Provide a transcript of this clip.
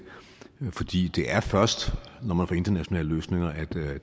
er fordi det er først når man får internationale løsninger at